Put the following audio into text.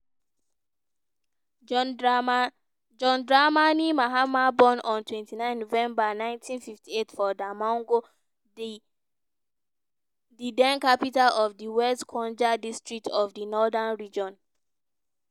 john dramani mahama born on twenty nine november nineteen fifty eight for damongo di den capital of di west gonja district of di northern region.